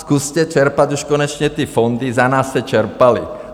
Zkuste čerpat už konečně ty fondy, za nás se čerpaly.